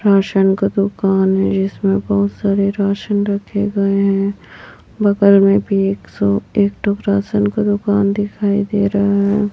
Ration का दुकान है जिसमें बहुत सारे राशन रखे गए हैं बगल में भी एक सौ एक तो राशन का दुकान दिखाई दे रहा है।